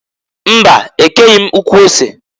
Mba! E keghi m ukwu ose.